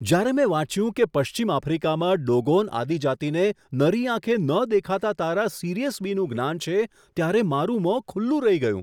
જ્યારે મેં વાંચ્યું કે પશ્ચિમ આફ્રિકામાં ડોગોન આદિજાતિને નરી આંખે ન દેખાતા તારા સિરિયસ બીનું જ્ઞાન છે, ત્યારે મારું મોં ખુલ્લું રહી ગયું!